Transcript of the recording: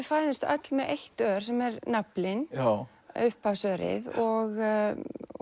fæðumst öll með eitt ör sem er naflinn og